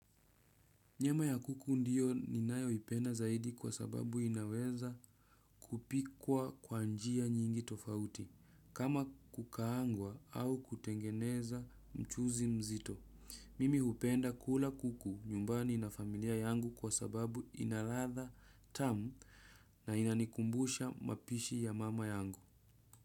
Nyama ya kuku ndiyo ninayoipenda zaidi kwa sababu inaweza kupikwa kwa njia nyingi tofauti kama kukaangwa au kutengeneza mchuzi mzito. Mimi hupenda kula kuku nyumbani na familia yangu kwa sababu ina ladha tamu na inanikumbusha mapishi ya mama yangu.